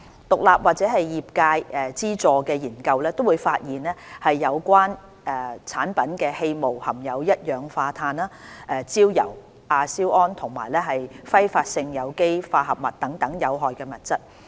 獨立或業界資助的研究均發現有關產品的氣霧含有一氧化碳、焦油、亞硝胺和揮發性有機化合物等有害物質。